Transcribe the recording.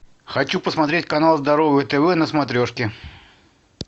хочу посмотреть канал здоровое тв на смотрешке